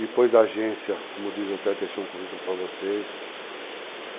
Depois da agência, como diz o Té, deixei um currículo para vocês.